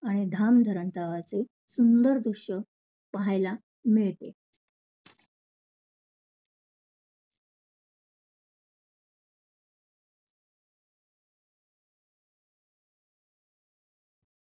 आणि धामधडाच्या आवाज येईल सुंदर दृश्य पाहायला मिळते.